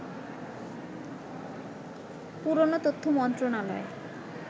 পুরনো তথ্য মন্ত্রণালয়